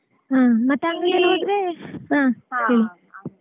ಹಾ ಮತ್ತ್ ಅಂಗ್ಡೀಲಿ .